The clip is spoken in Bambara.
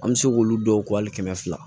An bɛ se k'olu dɔw ko hali kɛmɛ fila